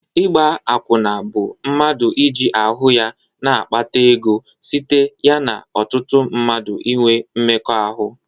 Ịgba akwụna bụ mmadụ iji ahụ ya na-akpara ego site ya na ọtụtụ mmadụ inwe mmekọ ahụ.